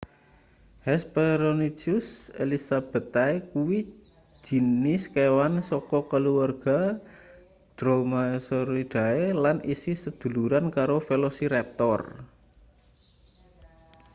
hesperonychus elizabethae kuwi jinis kewan saka kaluwarga dromaeosauridae lan isih seduluran karo velociraptor